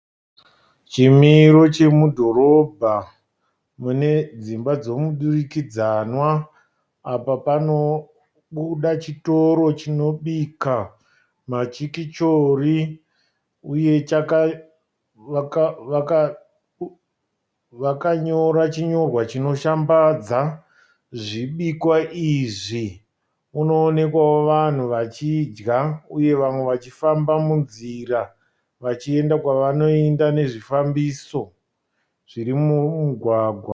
Chimiro chemudhorobha mune dzimba dzemudurikidzanwa. Apa pano buda chitoro chinobika machikichori. Uye, vakanyora chinyorwa chinoshambadza zvibikwa izvi. Kunoonekwawo vanhu vachidya uye vamwe vachifamba munzira vachienda kwavanoenda nezvifambiso zviri mumugwagwa.